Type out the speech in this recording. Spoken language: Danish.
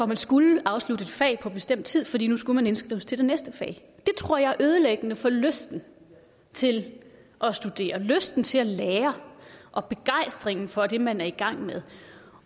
man skulle afslutte et fag på en bestemt tid fordi man nu skulle indskrives til det næste fag det tror jeg er ødelæggende for lysten til at studere lysten til at lære og begejstringen for det man er i gang med